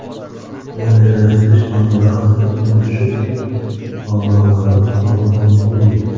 Moliyalashtirish manbasi budjet mablag‘lari hisobidan bo‘lgan.